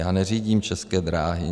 Já neřídím České dráhy.